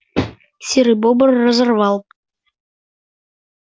серый бобр разорвал сало на две части